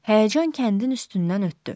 Həyəcan kəndin üstündən ötdü.